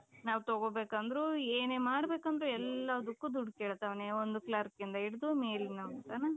ನಾವ್ ತಗೊಬೇಕಂದ್ರು ಏನೇ ಮಾಡ್ಬೇಕಂದ್ರೂ ಎಲ್ಲದಕ್ಕೂ ದುಡ್ಡು ಕೇಳ್ತಾನೆ ಒಂದು clerkಇಂದ ಹಿಡಿದು ಮೇಲಿನ ತನಕ .